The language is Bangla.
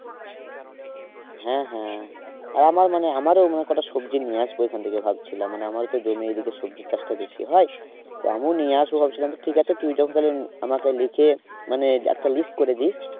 হ্যাঁ হ্যাঁ আমার মানে আমারও কটা সবজি নিয়ে আসবো মানে ওখান থেকে ভাবছিলাম মানে আমারও তো জমি এদিকে সবজির চাষটা বেশি হয় তো আমিও নিয়ে আসবো ভাবছিলাম তো ঠিক আছে তুই যখন তাহলে আমাকে লিখে মানে একটা list করে দিস।